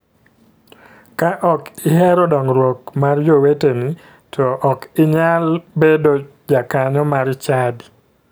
Ka ok ihero dongruok mar joweteni to ok inyal bedo jakanyo mar chadi.